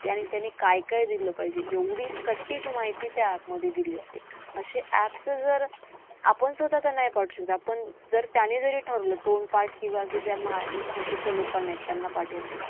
काय काय दिलं पाहिजे? एवढी सटीक माहिती त्या app मध्ये दिली जाते. असे apps जर आपण स्वतः तर नाही पाठवू शकत. पण जर त्याने जरी ठरलं तोंडपाठ किंवा असं माहितीच्या लोकांना आहेत त्यांना पाठवलं